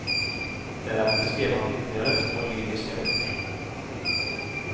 Därefter skrev han ytterligare två lyriska böcker.